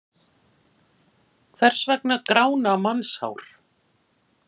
Hvers vegna grána mannshár?